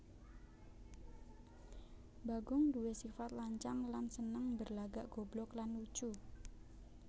Bagong duwé sifat lancang lan seneng berlagak goblok lan lucu